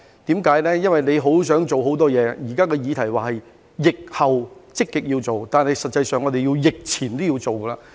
政府有很多事想做，而現時的議題是疫後積極要做的工作，但實際上，在疫前都要做。